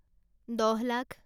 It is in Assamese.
দহ লাখ